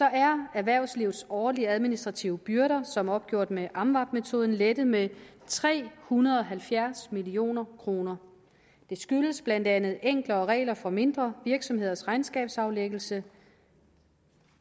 er erhvervslivets årlige administrative byrder som opgjort med amvab metoden lettet med tre hundrede og halvfjerds million kroner det skyldes blandt andet enklere regler for mindre virksomheders regnskabsaflæggelse